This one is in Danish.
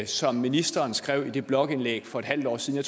som ministeren skrev i det blogindlæg for et halvt år siden og